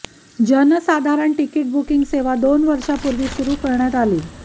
जनसाधारण ticket booking सेवा दोन वर्षापूर्वी सुरू करण्यात आली